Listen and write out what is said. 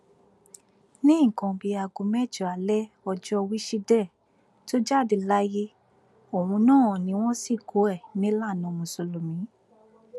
ní nǹkan bíi aago mẹjọ alẹ ọjọ wíṣídẹẹ tó jáde láyé ohun náà ni wọn sìnkú ẹ nílànà mùsùlùmí